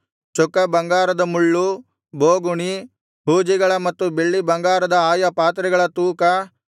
ಚೊಕ್ಕ ಬಂಗಾರದ ಮುಳ್ಳು ಬೋಗುಣಿ ಹೂಜಿಗಳ ಮತ್ತು ಬೆಳ್ಳಿ ಬಂಗಾರದ ಆಯಾ ಪಾತ್ರೆಗಳ ತೂಕ